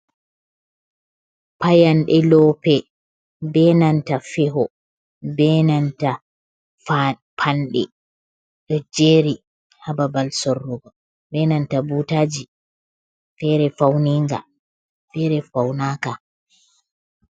Payanɗe lope benanta feho, benanta panɗe ɗo jeri hababal sorrugo, benanta butaji, fere fauni ga fere faunaka.